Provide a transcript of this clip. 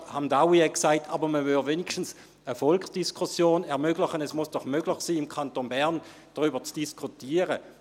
– Grossrat Hamdaoui hat gesagt, wenigstens würde man eine Volksdiskussion ermöglichen, es müsse doch möglich sein, im Kanton Bern darüber zu diskutieren.